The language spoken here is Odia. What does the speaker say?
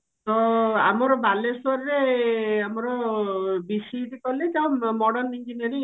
ତ ଆମର ବାଲେଶ୍ଵରରେ ଆମର BCET college ଆଉ modern engineering